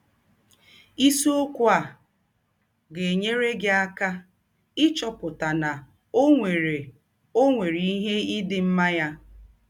Isiọkwụ a ga - enyere gị aka ịchọpụta na ọ nwere ọ nwere ihe ị dị mma ya!